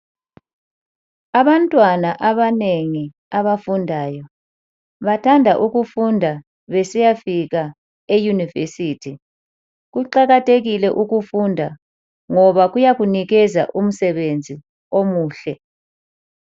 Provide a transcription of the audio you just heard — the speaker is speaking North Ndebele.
Abantwana abanengi abafundayo, bathanda ukufunda besiyafika eYunivesithi. Kuqakathekile ukufunda ngoba kuyakunikeza umsebenzi omuhle.